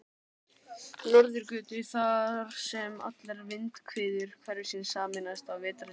Norðurgötu, þar sem allar vindhviður hverfisins sameinast á vetrardögum.